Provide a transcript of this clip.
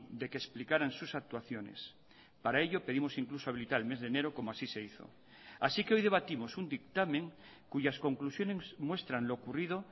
de que explicaran sus actuaciones para ello pedimos incluso habilitar el mes de enero como así se hizo así que hoy debatimos un dictamen cuyas conclusiones muestran lo ocurrido